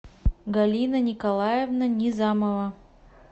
галина николаевна низамова